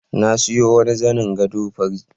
Na siyo wani zanin gado fari.